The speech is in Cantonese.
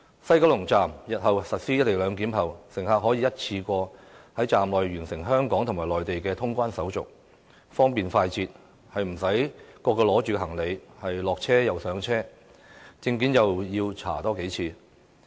西九龍站實施"一地兩檢"後，乘客便可以一次過在站內完成香港和內地的通關手續，方便快捷，無須提着行李上車下車，又不用多次檢查證件。